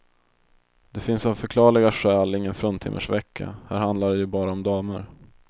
Där finns av förklarliga skäl ingen fruntimmersvecka, här handlar det ju bara om damer.